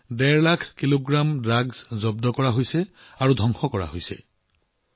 প্ৰায় ডেৰ লাখ কেজি ড্ৰাগছৰ চালান জব্দ কৰাৰ পিছত ইয়াক ধ্বংস কৰা হৈছে